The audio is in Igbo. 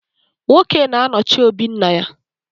Nwoke na-anọchi òbí nna ya.